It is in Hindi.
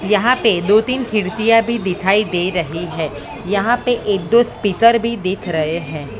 यहां पे दो तीन खिड़कियां भी दिखाई दे रही है यहां पे ये दो स्पीकर भी दिख रहे हैं।